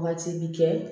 Wagati bi kɛ